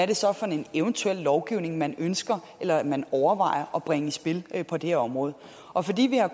det så er for en eventuel lovgivning man ønsker eller overvejer at bringe i spil på det her område og fordi vi har